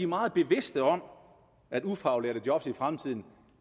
meget bevidste om at ufaglærte job i fremtiden